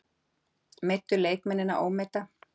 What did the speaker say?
Meiddu leikmennina, ómeidda?